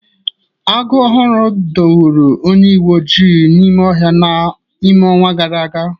Agụ owulu dọgburu onye uweojii n'ọhịa n'ime ọnwa gara aga.